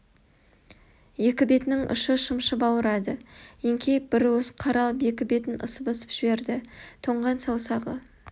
екі бетінің ұшы шымшып ауырады еңкейіп бір уыс қар алып екі бетін ысып-ысып жіберді тоңған саусағы